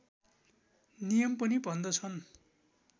नियम पनि भन्दछन्